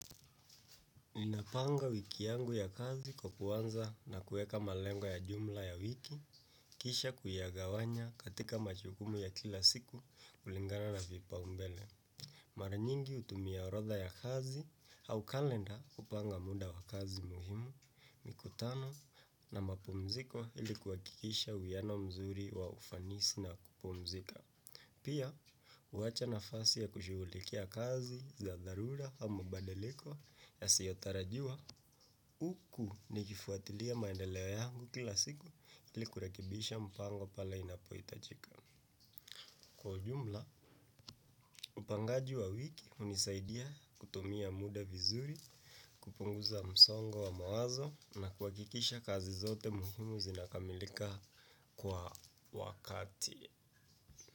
Ninapanga wiki yangu ya kazi kwa kuanza na kuweka malengo ya jumla ya wiki, kisha kuyagawanya katika majukumu ya kila siku kulingana na vipaumbele. Mara nyingi hutumia orodha ya kazi au kalenda kupanga muda wa kazi muhimu, mikutano na mapumziko ili kuhakikisha uhiano mzuri wa ufanisi na kupumzika. Pia, huacha nafasi ya kushughulikia kazi za dharura au mabadaliko yasiyotarajiwa huku nikifuatilia maendeleo yangu kila siku ili kurekibisha mpango pale inapohitajika. Kwa ujumla, upangaji wa wiki hunisaidia kutumia muda vizuri, kupunguza msongo wa mawazo na kuhakikisha kazi zote muhimu zinakamilika kwa wakati.